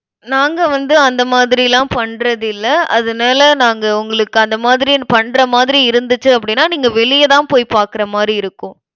நாங்க வந்து, அந்த மாதிரிலாம் பண்றதில்லை. அதனால, நாங்க உங்களுக்கு அந்த மாரி பண்ற மாதிரி இருந்துச்சு அப்படின்னா, நீங்க வெளியதான் போய் பார்க்கிற மாதிரி இருக்கும்.